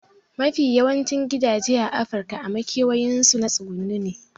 Mafi yawancin gidaje a afirika a makewayin su na tsuguno ne